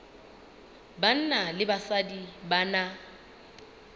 banna le basadi ba na